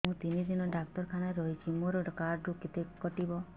ମୁଁ ତିନି ଦିନ ଡାକ୍ତର ଖାନାରେ ରହିଛି ମୋର କାର୍ଡ ରୁ କେତେ କଟିବ